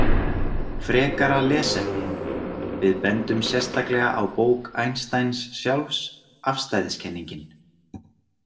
Frekara lesefni Við bendum sérstaklega á bók Einsteins sjálfs, Afstæðiskenningin.